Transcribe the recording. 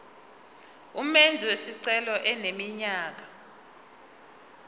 umenzi wesicelo eneminyaka